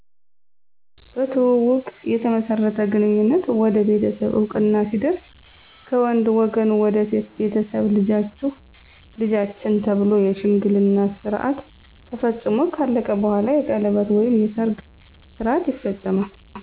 በትውውቅ የተመሠረተ ግንኙነት ወደ ቤተሠብ እወቅና ሲደርስ ከወንድ ወገን ወደ ሴት ቤተሠብ ልጃቹህ ለልጃችን ተብሎ የሽምግልና ስረዓት ተፈፅሞ ከአለቀ በኋላ የቀለበት ወይም የሰርግ ስርዓት ይፈፀማል